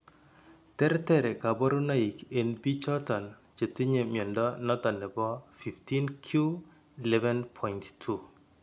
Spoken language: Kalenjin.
Terter kabarunaik en biikchoton chetinye mnyondo noton nebo 15q11.2